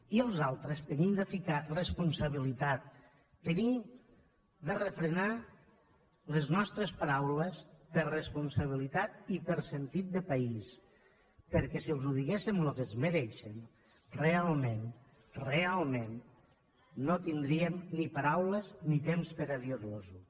i els altres hem de ficar responsabilitat hem de refrenar les nostres paraules per responsabilitat i per sentit de país perquè si els diguéssim el que es mereixen realment realment no tindríem ni paraules ni temps per a dir los ho